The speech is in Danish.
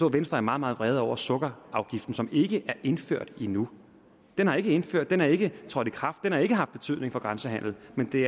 at venstre er meget meget vrede over sukkerafgiften som ikke er indført endnu den er ikke indført den er ikke trådt i kraft den har ikke haft betydning for grænsehandelen men det